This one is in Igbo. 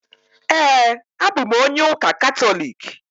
Ee, abụ m onye ụka Katọliki.